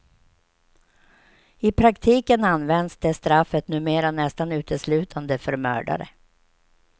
I praktiken används det straffet numera nästan uteslutande för mördare.